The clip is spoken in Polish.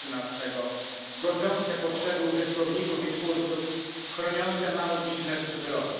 13, godzące potrzeby użytkowników i twórców, chroniące mały biznes cyfrowy.